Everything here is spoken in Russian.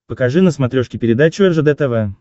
покажи на смотрешке передачу ржд тв